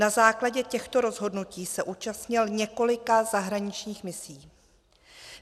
Na základě těchto rozhodnutí se zúčastnil několika zahraničních misí.